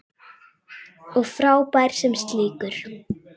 Og frábær sem slíkur.